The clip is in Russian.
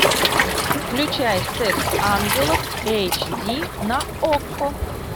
включай секс ангелов эйч ди на окко